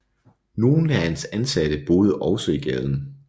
Nogle af hans ansatte boede også i gaden